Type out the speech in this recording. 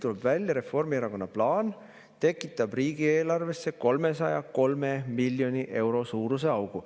Tuleb välja, Reformierakonna plaan tekitab riigieelarvesse 303 miljoni euro suuruse augu.